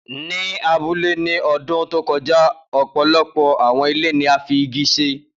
Ni abule ni ọdun to kọja, ọpọlọpọ awọn ile ni a fi igi ṣe